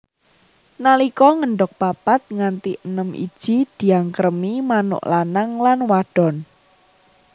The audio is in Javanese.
Nalika ngendhog papat nganti enem iji diangkremi manuk lanang lan wadon